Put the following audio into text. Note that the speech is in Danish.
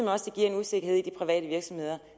også giver en usikkerhed i de private virksomheder